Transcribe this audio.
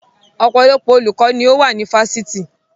Ọpọlọpọ olùkọ́ ni ó wà ní Fásitì